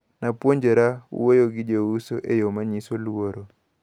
Napuonjra wuoyo gi jouso eyo manyiso luoro.